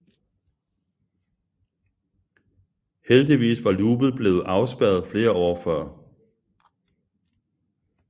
Heldigvis var loopet blevet afspærret flere år før